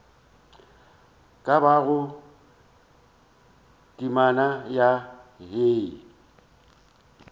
ka bago temana ya hei